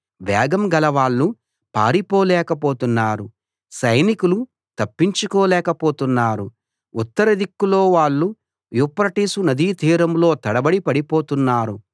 వేగం గలవాళ్ళు పారిపోలేక పోతున్నారు సైనికులు తప్పించుకోలేక పోతున్నారు ఉత్తర దిక్కులో వాళ్ళు యూఫ్రటీసు నదీ తీరంలో తడబడి పడిపోతున్నారు